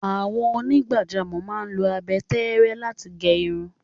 Àwọn onígbàjámọ̀ máa ń lo abẹ tẹ́ẹ́rẹ́ láti gẹ irun.